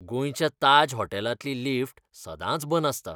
गोंयच्या ताज हॉटेलांतली लिफ्ट सदांच बंद आसता.